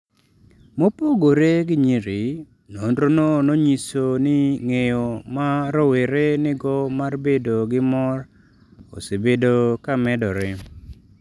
Mopogore gi nyiri, nonrono nonyiso ni ng’eyo ma rowere nigo mar bedo gi mor osebedo ka medore.